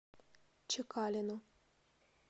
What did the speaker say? чекалину